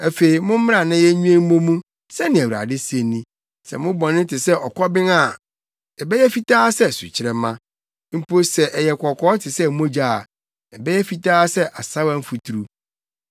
“Afei mommra na yennwen mmɔ mu,” sɛnea Awurade se ni. “Sɛ mo bɔne te sɛ ɔkɔben a, ɛbɛyɛ fitaa sɛ sukyerɛmma; mpo sɛ ɛyɛ kɔkɔɔ te sɛ mogya a ɛbɛyɛ fitaa sɛ asaawa mfuturu.